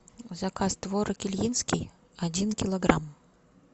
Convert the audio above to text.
заказ творог ильинский один килограмм